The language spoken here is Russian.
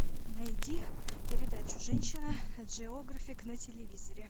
найди передачу женщина джеографик на телевизоре